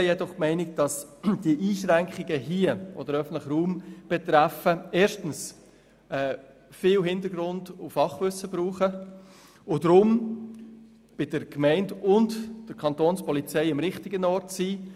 Wir teilen jedoch die Haltung, dass die Einschränkungen hier auch den öffentlichen Raum betreffen und dass Massnahmen viel Hintergrund- und Fachwissen verlangen und deshalb bei der Gemeinde und der Kantonspolizei am richtigen Ort sind.